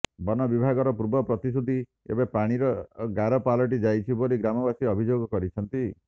ବନବିଭାଗର ପୂର୍ବ ପ୍ରତିଶ୍ରୁତି ଏବେ ପାଣିର ଗାର ପାଲଟି ଯାଇଛି ବୋଲି ଗ୍ରାମବାସୀ ଅଭିଯୋଗ କରିଛନ୍ତି